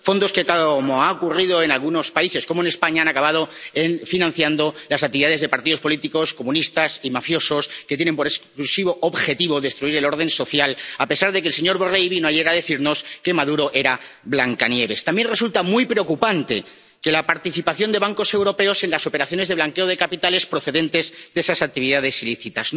fondos que, tal como ha ocurrido en algunos países, como en España, han acabado financiando las actividades de partidos políticos comunistas y mafiosos, que tienen por exclusivo objetivo destruir el orden social, a pesar de que el señor Borrell vino ayer a decirnos que Maduro era Blancanieves. También resulta muy preocupante la participación de bancos europeos en las operaciones de blanqueo de capitales procedentes de esas actividades ilícitas.